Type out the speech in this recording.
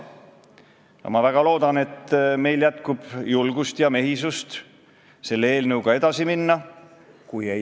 Aga kui me arvestame seda, et tegelikult meile tuleb iga aasta tuhandeid inimesi juurde just nimelt slaavi riikidest, siis ei jõua me iial selleni, et Eesti riigis valitseks eesti keel.